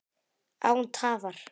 Án tafar!